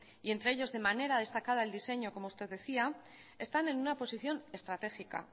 y entre ellos de manera destacada el diseño como usted decía están en una posición estratégica